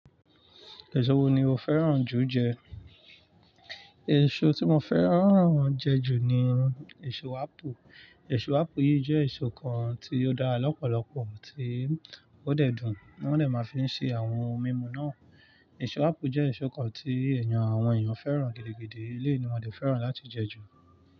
Èso wo ni o fẹ́ràn jù jẹ? Èso tí mo fẹ́ràn jẹ ju ni èso ápù. Èso ápù yìí jẹ́ èso kan tí ó dára lọ́pọ̀lọpọ̀, tí ó dẹ̀ dùn, wón dè máa fi ṣe àwọn ohun mímu náà. Èso ápù jẹ́ èso kan tí èèyàn, àwọn èèyàn fẹ́ràn gidi, gidi. Eleyii ni wọ́n de fẹ́ràn láti jẹ ju.